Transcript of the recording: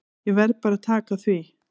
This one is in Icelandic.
Ég verð bara að taka því.